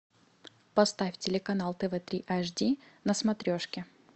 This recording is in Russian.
поставь телеканал тв три аш ди на смотрешке